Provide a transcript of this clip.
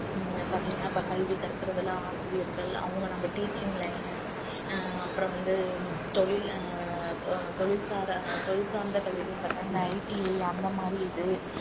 ஹம் பாத்தீங்கன்னா இப்ப கல்வி கற்கறதில ஆசிரியர்கள் அவங்க நம்ம teaching line அஹ் அப்புறம் வந்து தொழில் அஹ் தொழில் சா~ தொழில் சார்ந்த கல்விகள்னு பார்த்தா அந்த ITI அந்த மாதிரி இது